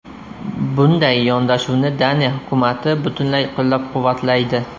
Bunday yondashuvni Daniya hukumati butunlay qo‘llab-quvvatlaydi.